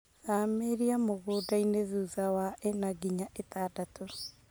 Thamĩria mũndainĩ thutha wa ĩna nginya ĩtadatũ.